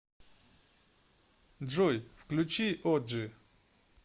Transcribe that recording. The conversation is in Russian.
джой включи оджи